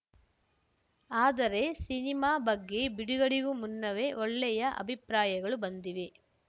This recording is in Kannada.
ಆದರೆ ಸಿನಿಮಾ ಬಗ್ಗೆ ಬಿಡುಗಡೆಗೂ ಮುನ್ನವೇ ಒಳ್ಳೆಯ ಅಭಿಪ್ರಾಯಗಳು ಬಂದಿವೆ